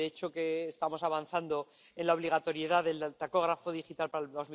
De hecho, estamos avanzando en la obligatoriedad del tacógrafo digital para el